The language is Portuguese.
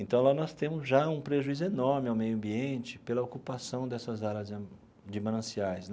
Então, lá nós temos já um prejuízo enorme ao meio ambiente pela ocupação dessas áreas de mananciais.